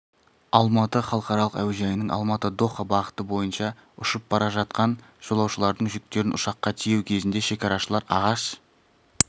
алматы халықаралық әуежайының алматы-доха бағыты бойынша ұшып бара жатқан жолаушылардың жүктерін ұшаққа тиеу кезінде шекарашылар ағаш